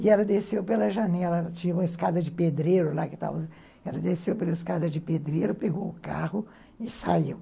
E ela desceu pela janela, tinha uma escada de pedreiro lá, ela desceu pela escada de pedreiro, pegou o carro e saiu.